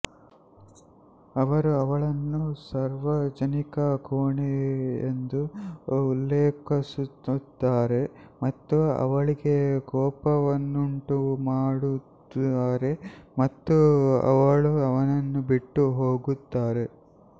ಅವರು ಅವಳನ್ನು ಸಾರ್ವಜನಿಕ ಕೋಣೆ ಎಂದು ಉಲ್ಲೇಖಿಸುತ್ತಾರೆ ಮತ್ತು ಅವಳಿಗೆ ಕೋಪವನ್ನುಂಟುಮಾಡುತ್ತಾರೆ ಮತ್ತು ಅವಳು ಅವನನ್ನು ಬಿಟ್ಟು ಹೋಗುತ್ತಾರೆ